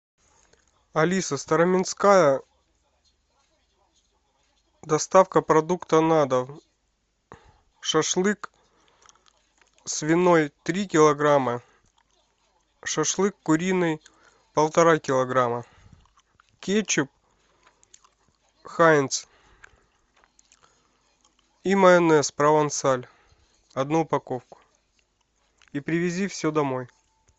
алиса староминская доставка продуктов на дом шашлык свиной три килограмма шашлык куриный полтора килограмма кетчуп хайнц и майонез провансаль одну упаковку и привези все домой